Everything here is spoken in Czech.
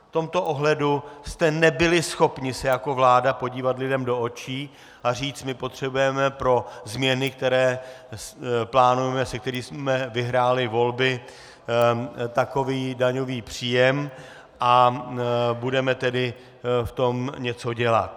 V tomto ohledu jste nebyli schopni se jako vláda podívat lidem do očí a říct: my potřebujeme pro změny, které plánujeme, s kterými jsme vyhráli volby, takový daňový příjem, a budeme tedy v tom něco dělat.